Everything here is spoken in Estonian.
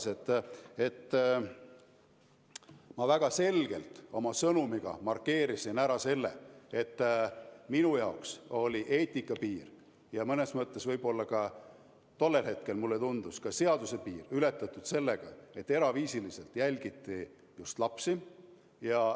Ja edasi: ma väga selgelt oma sõnumiga markeerisin ära selle, et minu jaoks oli eetika piir ja mõnes mõttes võib-olla ka – tollel hetkel mulle tundus nii – seaduse piir ületatud sellega, et eraviisiliselt jälgiti just lapsi.